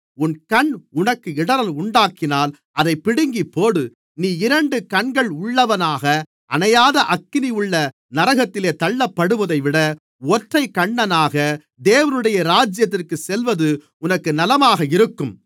உன் கண் உனக்கு இடறல் உண்டாக்கினால் அதைப் பிடுங்கிப்போடு நீ இரண்டு கண்கள் உள்ளவனாக அணையாத அக்கினியுள்ள நரகத்திலே தள்ளப்படுவதைவிட ஒற்றைக் கண்ணனாக தேவனுடைய ராஜ்யத்திற்குச் செல்வது உனக்கு நலமாக இருக்கும்